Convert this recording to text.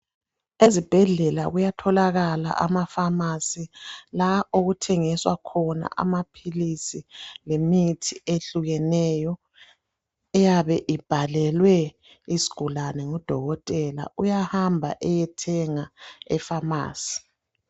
Ezibhedlela kuyatholakala amafamasi la okuthengiswa khona amaphilisi lemithi ehlukeneyo eyabe ibhalelwe isigulane ngudokotela, uyahamba eyethenga efamasi.